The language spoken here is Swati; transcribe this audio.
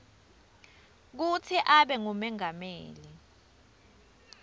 kutsi abe ngumengameli